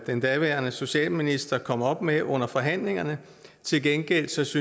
den daværende socialminister kom med under forhandlingerne til gengæld synes